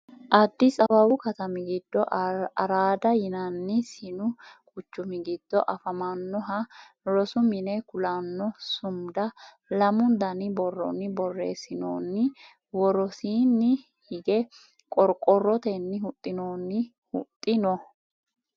addisi awawu katami giddo araada yinanni sinu quchumi giddo afamannoha rosu mine kulanno sumuda lamu dani borronni borreessinoonni worosiinni ige qorqorrotenni huxxinoonni huxxi no